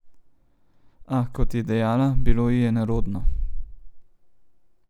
A, kot je dejala, bilo ji je nerodno.